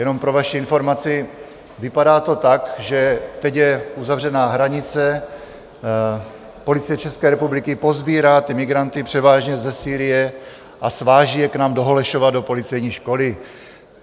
Jenom pro vaši informaci, vypadá to tak, že teď je uzavřená hranice, Policie České republiky posbírá ty migranty, převážně ze Sýrie, a sváží je k nám do Holešova do policejní školy.